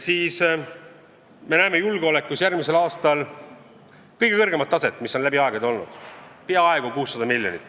Me näeme julgeolekus järgmisel aastal kõigi aegade kõige kõrgemat taset, sinna läheb peaaegu 600 miljonit.